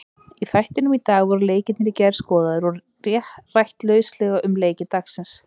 Í þættinum í dag voru leikirnir í gær skoðaðir og rætt lauslega um leiki dagsins.